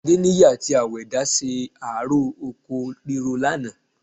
Adéníyì àti Àwẹ̀dá ṣe ààró oko ríro lánàá